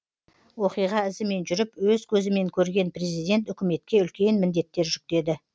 оқиға ізімен жүріп өз көзімен көрген президент үкіметке үлкен міндеттер жүктеді